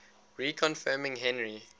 reconfirming henry